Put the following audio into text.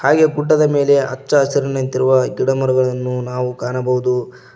ಹಾಗೆ ಗುಡ್ಡದ ಮೇಲೆ ಅಚ್ಚಹಸಿರಿನಂತಿರುವ ಗಿಡಮರಗಳನ್ನು ನಾವು ಕಾಣಬಹುದು.